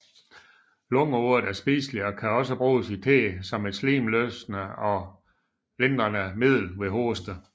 Lungeurt er spiselig og kan også bruges i te som et slimløsende og lindrende middel ved hoste